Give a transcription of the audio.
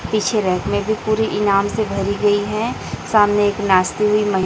पीछे रैक में भी पूरी इनाम से भरी गई हैं सामने एक नाचती हुई महि--